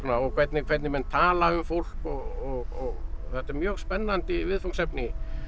og hvernig hvernig menn tala um fólk og þetta er mjög spennandi viðfangsefni